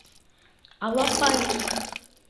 алапаевск